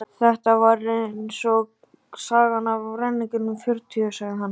Þetta var eins og sagan af ræningjunum fjörutíu, sagði hann.